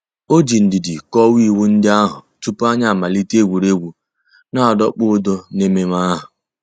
Ọ̀ jì ndìdì kọ́wàá ìwù ńdí àhụ̀ túpù ànyị̀ àmàlítè ègwè́ré́gwụ̀ nà-àdọ̀kpụ̀ ǔ́dọ̀ n'èmẹ̀mmẹ̀ àhụ̀.